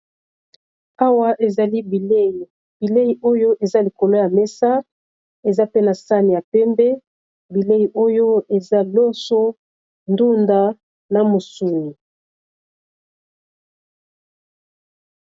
Awa ezali bilei bilei oyo eza likolo ya mesa eza pe na sane ya pembe bilei oyo eza loso ndunda na musuni